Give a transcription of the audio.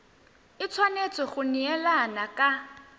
e tshwanetse go neelana ka